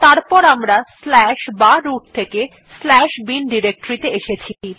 তারপর আমরা বা রুট থেকে bin ডিরেক্টরী ত়ে এসেছি